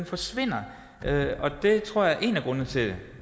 forsvinder det tror jeg er en af grundene til det